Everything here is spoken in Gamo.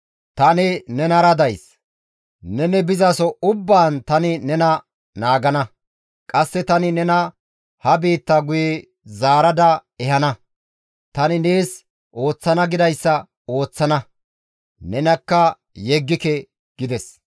Tani nenara days; neni bizaso ubbaan tani nena naagana; qasse tani nena ha biitta guye zaarada ehana; tani nees ooththana gidayssa ooththana; nenakka yeggike» gides.